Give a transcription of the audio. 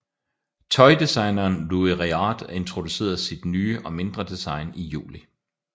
Tøjdesigneren Louis Réard introducerede sit nye og mindre design i juli